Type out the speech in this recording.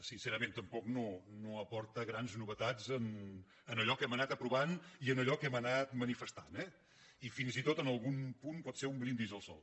sincerament tampoc no aporta grans novetats en allò que hem anat aprovant i en allò que hem anat manifestant eh i fins i tot en algun punt pot ser un brindis al sol